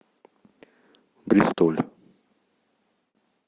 бристоль